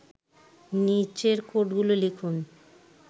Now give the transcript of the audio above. নিচের কোডগুলো লিখুন